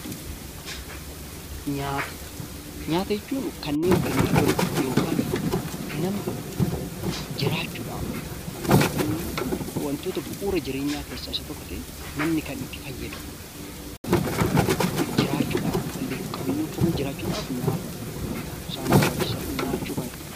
Nyaata jechuun kanneen bineeldonni yookiin namni jiraachuudhaaf yookaan ammo wantoota bu'ura jireenyaa keessaa isa tokko ta'ee, namni kan itti fayyadamu, lubbuu qabeeyyiin kamiyyuu jiraachuudhaaf nyaatatu isaan barbaachisa.